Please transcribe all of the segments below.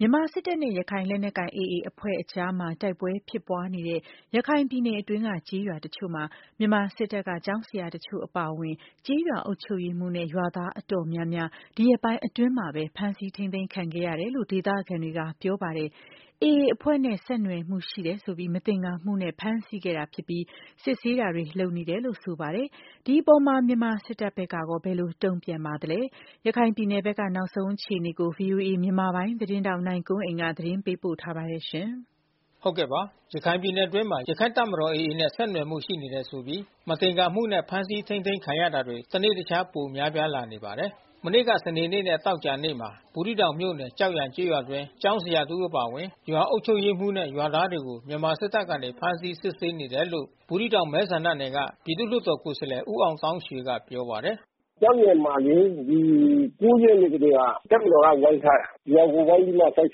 မြန်မာစစ်တပ်နဲ့ ရခိုင်လက်နက်ကိုင် AA အဖွဲအကြား တိုက်ပွဲဖြစ်ပွားနေတဲ့ ရခိုင်ပြည်နယ်တွင်းက ကျေးရွာတချို့မှာ မြန်မာစစ်တပ်က ကျောင်းဆရာတချို့ အပါအဝင် ကျေးရွာအုပ်ချုပ်ရေးမှူးနဲ့ ရွာသားအတော်များများ ဒီရက်ပိုင်းအတွင်းမှာပဲ ဖမ်းဆီး ထိန်းသိမ်းခံခဲ့ရတယ်လို့ ဒေသခံတွေက ပြောပါတယ်။ AA အဖွဲ့နဲ့ ဆက်နွယ်မှု ရှိနေတယ်ဆိုပြီး မသင်္ကာမှုနဲ့ ဖမ်းဆီးခဲ့တာဖြစ်ပြီး စစ်ဆေးတာတွေ လုပ်နေတယ်လို့ ဆိုပါတယ်။ ဒီအပေါ် မြန်မာစစ်ဘက်ကရော ဘယ်လိုတုံ့ပြန်ထားပါသလဲ။ ရခိုင်ပြည်နယ်ဘက်က နောက်ဆုံးအခြေအနေကို ဗွီအိုအေမြန်မာပိုင်း သတင်းထောက် နိုင်ကွန်းအိန်ကနေ သတင်းပေးပို့ထားပါတယ်။ ရခိုင်ပြည်နယ်အတွင်းမှာ ရခိုင့်တပ်မတော်AAနဲ့ဆက်နွယ်မှုရှိနေတယ်ဆိုပြီး မသင်္ကာမှုနဲ့ဖမ်းဆီးထိန်းသိမ်း ခံရ တာတွေ တနေ့တခြား ပိုများပြားလာနေပါတယ်။ မနေ့ကစနေနေ့နဲ့သောကြာနေ့မှာ ဘူးသီးတောင်မြို့နယ်၊ ကျောက်ရန်ကျေးရွာအတွင်းမှာ ကျောင်းဆရာတဦး အပါအဝင် ရွာအုပ်ချုပ်ရေးမှူး ရွာသားတွေကို မြန်မာစစ်တပ်ကနေ ဖမ်းဆီးစစ်ဆေးနေတယ်လို့ ဘူးသီးတောင် မဲဆန္ဒနယ် က ပြည်သူ့လွှတ်တော်ကိုယ်စားလှယ် ဦးအောင်သောင်းရွှေကပြောပါတယ်။ “ကျောက်ရန်မှာလေ။ ဒီ ရက်နေ့ကတည်းက တပ်မတော်က ဝိုင်းထားတာ။ ရွာကိုဝိုင်းပြီးမှ စစ်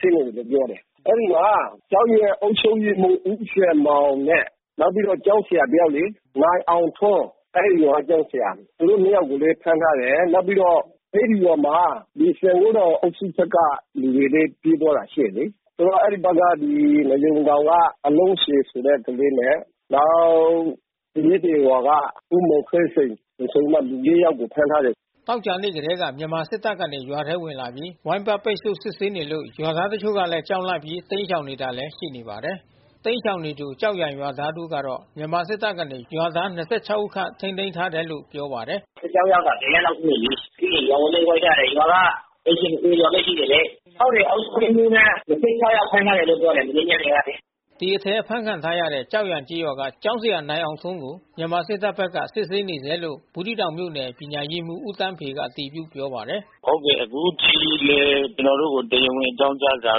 ဆေးနေတယ်လို့ ပြော တယ်။ အဲဒီမှာ ကျောက်ရန်အုပ်ချုပ်ရေးမှူးဦးစံမောင်နဲ့ နောက်ပြီးတော့ ကျောင်းဆရာ တယောက်လေ။ နိုင်အောင်ထွန်း အဲဒီရွာကကျောင်းဆရာ။ သူတို့နှစ်ယောက်ကိုလဲ ဖမ်းထားတယ်။ နောက်ပြီးတော့ အဲဒီရွာမှာ စံဂိုးထောင်အုပ်စု ဖက်က လူတွေလဲ ပြေးသွားတာ ရှိတယ်လေ။ သူတို့က အဲဒီဖက်က နွားရုံတောင်က အလုံးချေဆိုတဲ့ ကလေးနဲ့။ နောက် သရက် ပြင်ရွာက ဦးမောင်သိန်းစိန် ဆိုပြီးမှ လူ ယောက်ကို ဖမ်းထားတယ်။” သောကြာနေ့ကတည်းက မြန်မာစစ်တပ်ကနေ ရွာထဲဝင်လာပြီး ဝိုင်းပတ်ပိတ်ဆို့စစ်ဆေးနေလို့ ရွာသား တချို့လဲ ကြောက်လန့် တိမ်းရှောင်နေရတာလဲရှိနေပါတယ်။ တိမ်းရှောင်နေသူ ကျောက်ရန်ရွာသား တဦး ကတော့ မြန်မာစစ်တပ်ကနေ ရွာသား ဦးခန့်ထိန်းသိမ်းထား တယ်လို့ ပြောပါတယ်။ “စစ်ကြောင်းရောက်တာ ရက်လောက်ရှိနေပြီ။ ပြီးရင်ရွာကိုလဲဝိုင်းထားတယ်။ ရွာကအိမ်ခြေ ကျော်ဘဲရှိတယ် လေ။ ဟုတ်တယ် အုပ်ချုပ်ရေးမှူးနဲ့ ယောက်ဖမ်းထားတယ်လို့ ပြောတယ်။ မနေ့ညနေကလေ။” ဒီအထဲအဖမ်းခံထားရတဲ့ ကျောက်ရန်ကျေးရွာက ကျောင်းဆရာနိုင်အောင်ထွန်းကို မြန်မာစစ်တပ်ဖက်က စစ်ဆေး နေဆဲလို့ ဘူးသီးတောင်မြို့နယ် ပညာရေးမှူးဦးသန်းဖေက အတည်ပြုပြောပါတယ်။ “ဟုတ်တယ် အခုထိလဲ ကျွန်တော်တို့ကိုတရားဝင်အကြောင်းကြားစာ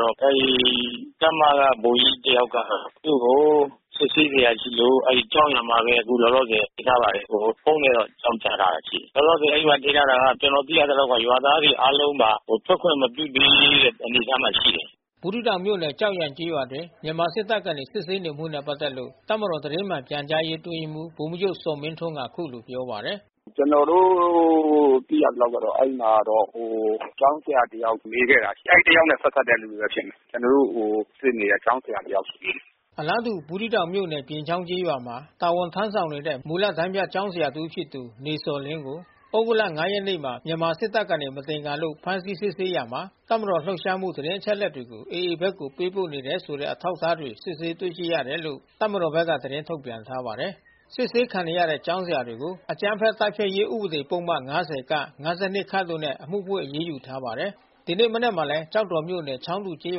တော့ အဲဒီတပ်မက ဗိုလ်ကြီးတယောက်က သူ့ကို စစ်ဆေးစရာရှိလို့ အဲဒီကျောက်ရန်မှာဘဲ အခုလောလောဆယ် ထိန်းထားပါတယ်။ ဖုန်းနဲ့တော့ အကြောင်းကြား လာတာရှိပါတယ်။ လောလောဆယ်အဲဒီမှာ ထိန်းထားတာက ကျွန်တော်သိရတာက ရွာသားတွေအားလုံးပါ ထွက်ခွင့်မပြု သေးတဲ့ အနေအထား မှာရှိတယ်။” ဘူးသီးတောင်မြို့နယ် ကျောက်ရန်ကျေးရွာအတွင်း မြန်မာစစ်တပ်ကနေ စစ်ဆေးနေမှုနဲ့ ပက်သက်လို့ တပ်မတော် သတင်းမှန်ပြန်ကြားရေး အတွင်းရေးမှူး ဗိုလ်မှူးချုပ်ဇော်မင်းထွန်းက အခုလိုပြောပါတယ်။ “ကျွန်တော်တို့ သိရသလောက်ကတော့ အဲဒီမှာတော့ ဟိုကျောင်းဆရာတယောက် မေးခဲ့တာ အဲဒီတယောက်နဲ့ ပက်သက်တဲ့ သူတွေဘဲဖြစ်မယ်။ ကျွန်တော်တို့ စစ်နေတဲ့ ကျောင်းဆရာ တယောက်ရှိသေးတယ်။ အလားတူ ဘူးသီးတောင်မြို့နယ် ပြင်ချောင်းကျေးရွာမှာ တာဝန်ထမ်းဆောင်နေတဲ့ မူလတန်းပြ ကျောင်းဆရာတဦး ဖြစ်သူ နေဇော်လင်းကို သြဂုတ်လ ရက်နေ့မှာမြန်မာစစ်တပ်ကနေ မသင်္ကာလို့ ဖမ်းဆီးစစ်ဆေးရာမှာ တပ်မတော် လှုပ်ရှားမှု သတင်းအချက်လက်တွေကို AAဖက်ကို ပေးပို့နေတယ်ဆိုတဲ့ အထောက် အထား တွေစစ်ဆေး တွေ့ရှိရတယ်လို့ တပ်မတော်က သတင်းထုတ်ပြန်ထားပါတယ်။ စစ်ဆေးခံနေရတဲ့ကျောင်းဆရာကို အကြမ်းဖက်တိုက်ဖျက်ရေး ဥပဒေ ပုဒ်မ ၅၀ ၊ ၅၂ တို့နဲ့ အမှုဖွင့်အရေးယူ ထားပါတယ်။ ဒီနေ့မနက်မှာလဲ ကျောက်တော်မြို့နယ် ချောင်းတူကျေး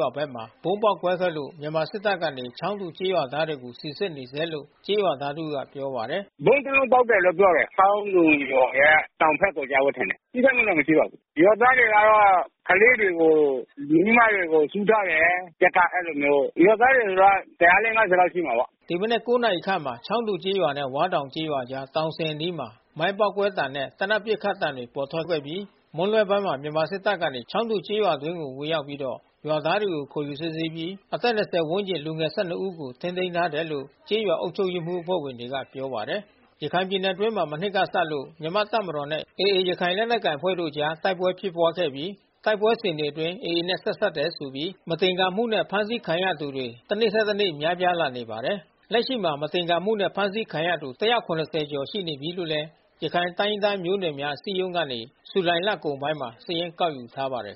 ရွာဖက်မှာ ဗုံးပေါက်ကွဲခဲ့လို့ မြန်မာစစ်တပ် ကနေ ချောင်းတူ ကျေးရွာသားတွေကိုစီစစ်နေဆဲလို့ ကျေးရွာသားတဦးကပြောပါတယ်။ “ဗုံးတလုံးပေါက်တယ်လို့ ပြောတယ်။ ချောင်းတူရွာရဲ့ တောင်ဖက်မှာ ကျတယ်ထင်တယ်။ ထိခိုက်မှုတော့ မရှိပါဘူး။ ရွာသားတွေကတော့ ကလေးတွေကို မိန်းမတွေကိုစုထားတယ်။ တပ်က အဲဒီလိုမျိုး။ ရွာသားတွေဆိုတာတရာ ၊ ၄-၅၀ လောက်ရှိမှာပေါ။့” ဒီမနက် နာရီခန့်မှာ ချောင်းတူကျေးနဲ့ဝါးတောင်ကျေးရွာကြား တောင်စဉ်အနီးမှာ မိုင်းပေါက်ကွဲသံနဲ့ သေနတ် ပစ်ခတ်သံတွေ ထွက်ပေါ်ခဲ့ပြီး မွန်းလွှဲပိုင်းမှာ မြန်မာစစ်တပ်ကနေ ချောင်းတူကျေးရွာအတွင်းဝင်ရောက်ပြီးတော့ ရွာ သားတွေကို ခေါ်ယူစစ်ဆေးနေပြီး အသက် ဝန်းကျင်လူငယ် ဦးကို ထိန်းသိမ်းထားတယ်လို့ ကျေးရွာအုပ် ချုပ်ရေးအဖွဲ့ဝင်တွေက ပြောပါတယ်။ ရခိုင်ပြည်နယ်အတွင်းမှာ မနှစ်ကစလို့ မြန်မာ့တပ်မတော်နဲ့ AAရခိုင်လက်နက်ကိုင် အဖွဲ့တို့အကြား တိုက်ပွဲဖြစ်ပွား ခဲ့ပြီး တိုက်ပွဲစဉ်တွေအတွင်း AAနဲ့ဆက်စပ်တယ်ဆိုပြီး မသင်္ကာမှုနဲ့ဖမ်းဆီးခံရသူတွေ တနေ့ထက်နေ့များပြား လာနေ ပါတယ်။ လက်ရှိမှာ မသင်္ကာမှုနဲ့ဖမ်းဆီးခံရသူ ကျော်ရှိနေပြီးလို့လဲ ရခိုင်တိုင်းရင်းသား မျိုးနွယ်များ အစည်းအရုံးကနေ ဇူလိုင်လကုန်ပိုင်းမှာ စာရင်းကောက်ယူထားပါတယ်